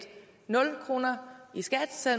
nul kroner i skat selv